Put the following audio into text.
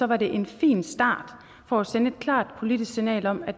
var det en fin start på at sende et klart politisk signal om at